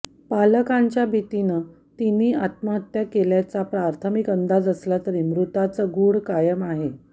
पालकांच्या भीतीनं त्यांनी आत्महत्या केल्याचा प्राथमिक अंदाज असला तरी मृत्यूचं गूढ कायम आहे